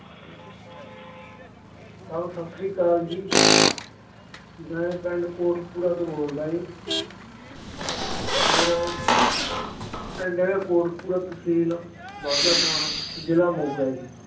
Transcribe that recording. ਸਤਿ ਸ੍ਰੀ ਅਕਾਲ ਜੀ ਮੈਂ ਪਿੰਡ ਕੋਟਕਪੁਰਾ ਤੋਂ ਬੋਲਦਾ ਜੀ ਮੇਰਾ ਪਿੰਡ ਹੈਗਾ ਕੋਟਕਪੁਰਾ, ਤਹਿਸੀਲ ਬਾਘਾ ਪੁਰਾਣਾ ਜ਼ਿਲ੍ਹਾ ਮੋਗਾ ਜੀ